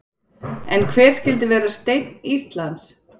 En hver skyldi vera steinn Íslands?